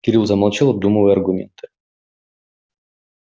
кирилл замолчал обдумывая аргументы